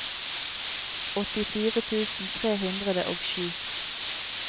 åttifire tusen tre hundre og sju